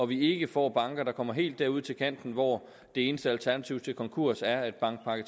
vi ikke får banker der kommer helt derud til kanten hvor det eneste alternativ til konkurs er at bankpakke